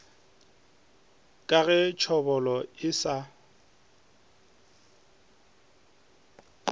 ka ge tšhobolo e sa